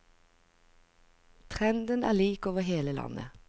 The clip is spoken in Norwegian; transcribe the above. Trenden er lik over hele landet.